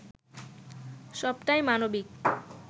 সবটাই মানবিক